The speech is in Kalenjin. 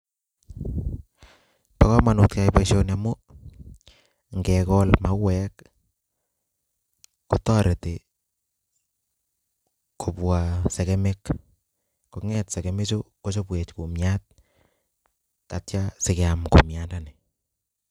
Bo kamanut keyai boisioni amu ngekol mauek kotoreti kobwa segemik konget segemichu kochobwech kumiat taitya sikeam kumiandani.